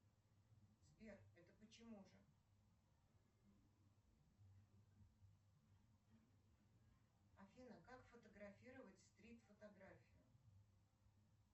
сбер это почему же афина как фотографировать стрит фотографию